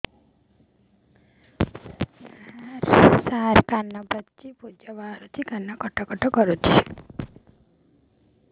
ସାର କାନ ପାଚି ପୂଜ ବାହାରୁଛି କାନ କଟ କଟ କରୁଛି